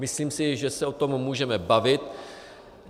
Myslím si, že se o tom můžeme bavit.